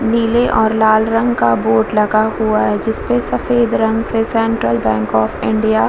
नीले और लाल रंग का बोर्ड लगा हुआ है जिसपे सफ़ेद रंग से सेंट्रल बैंक ऑफ़ इंडिया --